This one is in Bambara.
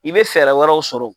I be fɛɛrɛ wɛrɛw sɔrɔ